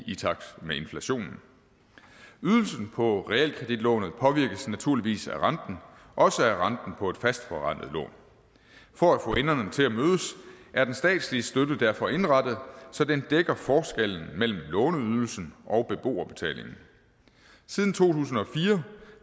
i takt med inflationen ydelsen på realkreditlånet påvirkes naturligvis af renten også af renten på et fastforrentet lån for at få enderne til at mødes er den statslige støtte derfor indrettet så den dækker forskellen mellem låneydelsen og beboerbetalingen siden to tusind og fire